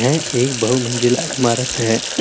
ये एक बहु मंजिला ईमारत है।